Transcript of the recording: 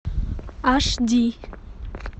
аш ди